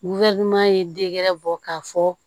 ye dengɛrɛ bɔ k'a fɔ